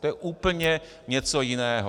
To je úplně něco jiného.